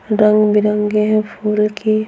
रंग-बिरंगे है फूल की।